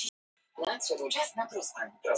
Frekara lesefni á Vísindavefnum.